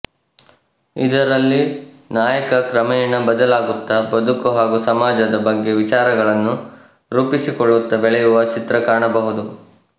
ಇದರಲ್ಲಿ ನಾಯಕ ಕ್ರಮೇಣ ಬದಲಾಗುತ್ತ ಬದುಕು ಹಾಗೂ ಸಮಾಜದ ಬಗ್ಗೆ ವಿಚಾರಗಳನ್ನು ರೂಪಿಸಿಕೊಳ್ಳುತ್ತ ಬೆಳೆಯುವ ಚಿತ್ರಣ ಕಾಣಬಹುದು